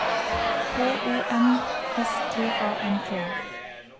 K O N S T A N T